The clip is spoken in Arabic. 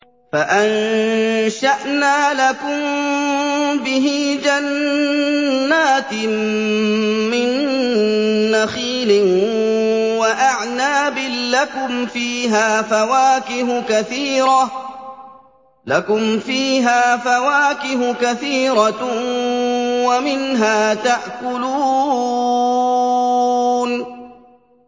فَأَنشَأْنَا لَكُم بِهِ جَنَّاتٍ مِّن نَّخِيلٍ وَأَعْنَابٍ لَّكُمْ فِيهَا فَوَاكِهُ كَثِيرَةٌ وَمِنْهَا تَأْكُلُونَ